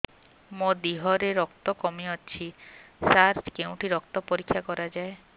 ମୋ ଦିହରେ ରକ୍ତ କମି ଅଛି ସାର କେଉଁଠି ରକ୍ତ ପରୀକ୍ଷା କରାଯାଏ